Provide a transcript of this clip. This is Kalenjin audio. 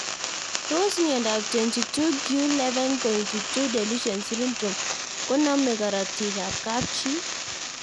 Tos miondop 22q11.2 deletion syndrome ko kinamee karatika ab kapchii